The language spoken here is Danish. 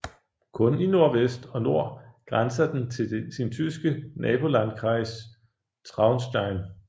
Kun i nordvest og nord grænser den til sin tyske nabolandkreis Traunstein